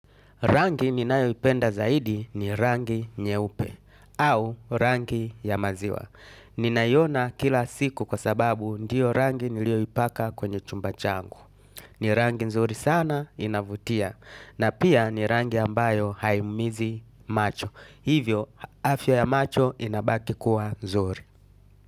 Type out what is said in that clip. Rangi ninayo ipenda zaidi ni rangi nyeupe au rangi ya maziwa. Ninaioona kila siku kwa sababu ndiyo rangi nilio ipaka kwenye chumba changu. Ni rangi nzuri sana inavutia na pia ni rangi ambayo haiumizi macho. Hivyo afya ya macho inabaki kuwa nzuri.